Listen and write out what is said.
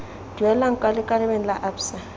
duelang kwa lekaleng la absa